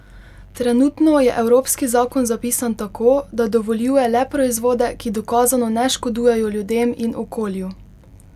Trenutno je evropski zakon zapisan tako, da dovoljuje le proizvode, ki dokazano ne škodujejo ljudem in okolju.